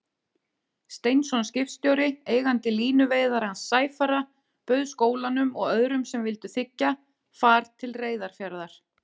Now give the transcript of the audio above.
Steinsson skipstjóri, eigandi línuveiðarans Sæfara, bauð skólanum og öðrum sem vildu þiggja, far til Reyðarfjarðar.